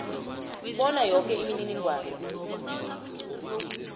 bona yoke imininingwana